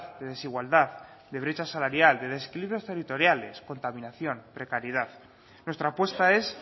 de desigualdad de brecha salarial de desequilibrios territoriales contaminación precariedad nuestra apuesta es